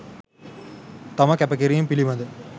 තම කැපකිරීම පිළිබඳ